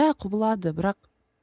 иә құбылады бірақ